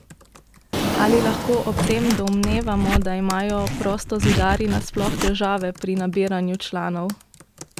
Ali lahko ob tem domnevamo, da imajo prostozidarji nasploh težave pri nabiranju članov?